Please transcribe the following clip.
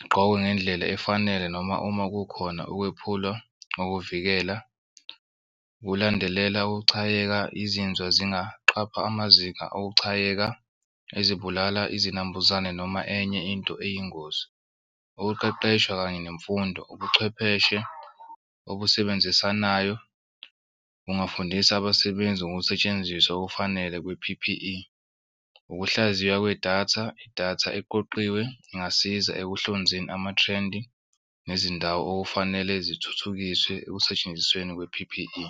igqokwe ngendlela efanele, noma uma kukhona ukwephula ngokuvikela kulandelela ukuchayeka izinzwa zingaqapha amazinga okuchayeka kuzibulala izinambuzane noma enye into eyingozi. Ukuqeqeshwa kanye nemfundo ubuchwepheshe obusebenzisanayo kungafundisa abasebenzi ngokusetshenziswa okufanele kwe-P_P_E. Ukuhlaziywa kwedatha idatha eqoqiwe ingasiza ekuhlonzeni ama-trend nezindawo okufanele zithuthukiswe ekusentshenzisweni kwe-P_P_E.